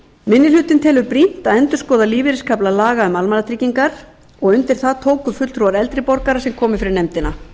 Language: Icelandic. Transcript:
minni hlutinn telur brýnt að endurskoða lífeyriskafla laga um almannatryggingar undir það tóku fulltrúar eldri borgara sem komu fyrir nefndina